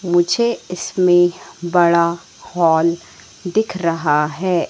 मुझे इसमें बड़ा हॉल दिख रहा है।